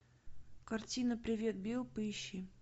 картина привет билл поищи